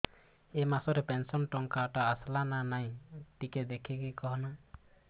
ଏ ମାସ ରେ ପେନସନ ଟଙ୍କା ଟା ଆସଲା ନା ନାଇଁ ଟିକେ ଦେଖିକି କହନା